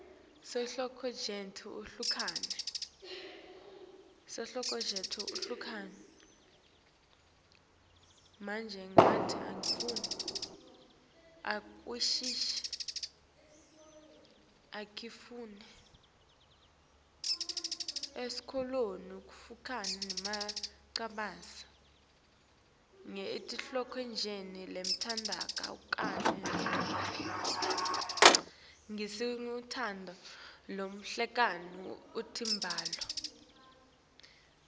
etinhlotjeni letehlukene temibhalo